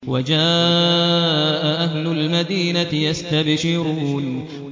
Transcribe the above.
وَجَاءَ أَهْلُ الْمَدِينَةِ يَسْتَبْشِرُونَ